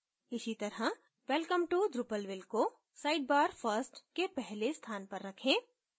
इसीतरह welcome to drupalville को sidebar first के पहले स्थान पर रखें